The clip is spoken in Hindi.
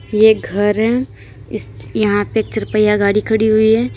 ये एक घर है यहां पर चार पहिया गाड़ी खड़ी हुई है।